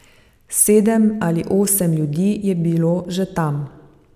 Sedem ali osem ljudi je bilo že tam.